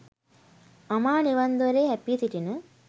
අමා නිවන් දොරේ හැපී සිටින